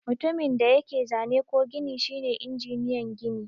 Mutumin da yake zane ko gini shine injiniyan gini.